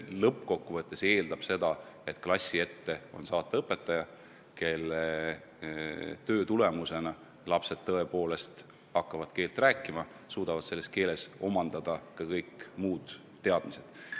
Lõppkokkuvõttes on vaja, et klassi ette on võimalik saata õpetaja, kelle töö tulemusena lapsed tõepoolest hakkavad keelt rääkima ja suudavad selles keeles omandada ka kõik muud teadmised.